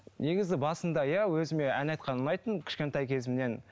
негізі басында иә өзіме ән айтқан ұнайтын кішкентай кезімнен